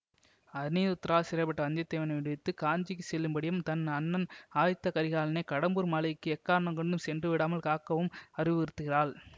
அநிருத்தரால் சிறைபட்ட வந்திய தேவனை விடுவித்து காஞ்சிக்கு செல்லும்படியும் தன் அண்ணன் ஆதித்த கரிகாலனை கடம்பூர் மாளிகைக்கு எக்காரணம் கொண்டும் சென்றுவிடாமல் காக்கவும் அறிவுருத்துகிறாள்